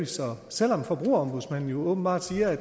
så selv om forbrugerombudsmanden åbenbart siger